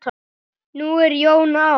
Nú er Jón á